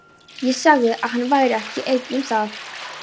Ég sagði, að hann væri ekki einn um það.